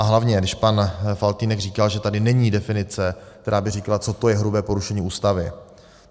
A hlavně když pan Faltýnek říkal, že tady není definice, která by říkala, co to je hrubé porušení Ústavy.